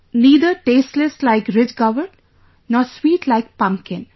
Neither tasteless like ridge gourd nor sweet like pumpkin